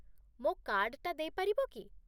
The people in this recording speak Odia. ମୋ କାର୍ଡ଼ଟା ଦେଇପାରିବ କି?